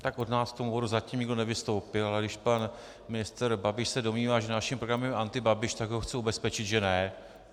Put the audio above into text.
Tak od nás k tomu bodu zatím nikdo nevystoupil, ale když pan ministr Babiš se domnívá, že naším programem je antibabiš, tak ho chci ubezpečit že ne.